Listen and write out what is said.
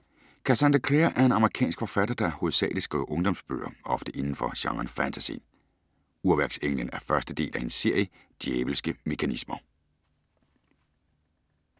Cassandra Clare er en amerikansk forfatter, der hovedsalig skriver ungdomsbøger, ofte indenfor genren fantasy. Urværksenglen er første del af hendes serie Djævelske mekanismer.